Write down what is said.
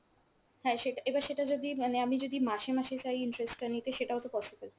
হ্যাঁ সেটা এবার সেটা যদি মানে আমি যদি মাসে মাসে চাই interest টা নিতে সেটাও তো possible।